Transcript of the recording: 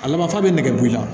A laban fa bɛ nɛgɛ b'i la